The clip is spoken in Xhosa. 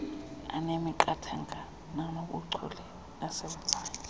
anemiqathango nanobuchule nasebenzayo